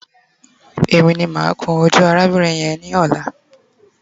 E mi ni ma kun oju arabirin yen ni ola